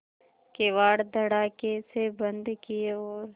किवाड़ धड़ाकेसे बंद किये और